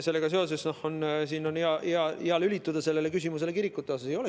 Sellega seoses on hea lülituda küsimusele kirikute kohta.